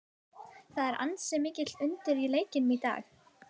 Það er því ansi mikið undir í leiknum í dag.